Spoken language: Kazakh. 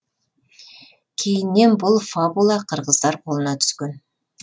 кейіннен бұл фабула қырғыздар қолына түскен